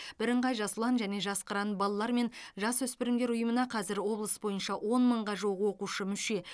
бірыңғай жас ұлан және жас қыран балалар мен жасөспірімдер ұйымына қазір облыс бойынша он мыңға жуық оқушы мүше